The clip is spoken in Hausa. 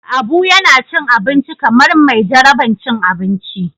Abu yana cin abinci kamar mai jaraban cin abinci.